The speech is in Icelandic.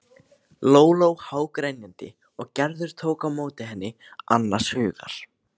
Lóló hágrenjandi og Gerður tók á móti henni annars hugar.